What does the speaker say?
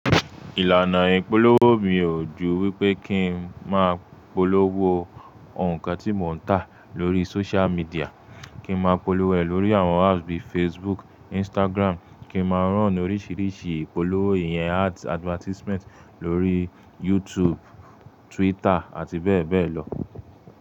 Ìlànà ìpolówó mi ò ju wípé kí n má polówó nǹkan tí mo ń tà lórí social media. Kí má polówó ẹ̀ lórí àwọn apps bíi Facebook, Instagram, kí má run oríṣiríṣi ìpolówó ìyẹn ads advertisement lórí YouTube, Twitter àti bẹ́ẹ̀ bẹ́ẹ̀ lọ.